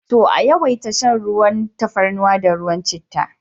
To! a yawaita shan tafarnuwa da ruwan chittah.